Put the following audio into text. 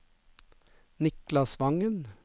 Niklas Vangen